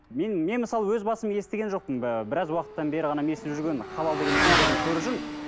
мен мен мысалы өз басым естіген жоқпын ы біраз уақыттан бері ғана естіп жүргенмін халал деген өнімдерін көріп жүрмін